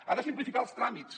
ha de simplificar els tràmits